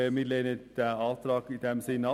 Wir lehnen beide Auflagen ab.